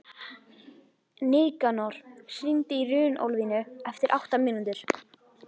Nikanor, hringdu í Runólfínu eftir átta mínútur.